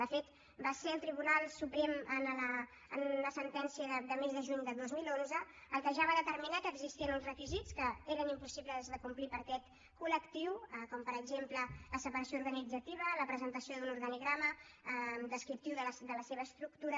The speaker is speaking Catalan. de fet va ser el tribunal suprem en una sentència del mes de juny del dos mil onze el que ja va determinar que existien uns requisits que eren impossibles de complir per aquest col·lectiu com per exemple la separació organitzativa la presentació d’un organigrama descriptiu de la seva estructura